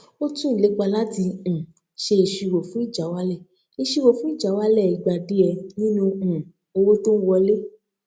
ó tún ìlépa láti um ṣe ìṣirò fún ìjáwálẹ ìṣirò fún ìjáwálẹ ìgbà díẹ nínú um owó tó n wọlé